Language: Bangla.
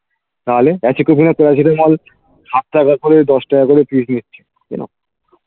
তাহলে সাত টাকা করে দশ টাকা করে pis নিচ্ছে